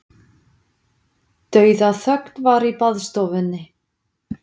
Dauðaþögn var í baðstofunni.